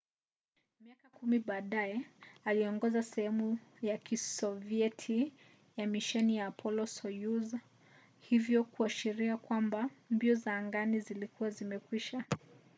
miaka kumi baadaye aliongoza sehemu ya kisovieti ya misheni ya apollo-soyuz hivyo kuashiria kwamba mbio za angani zilikuwa zimekwisha